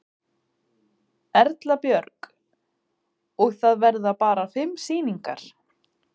Erla Björg: Og það verða bara fimm sýningar?